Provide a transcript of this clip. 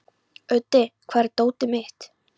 Úddi, hvar er dótið mitt?